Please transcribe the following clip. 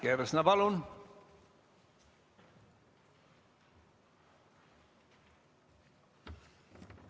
Liina Kersna, palun!